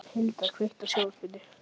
Hann sagði að það væri rétt ályktað.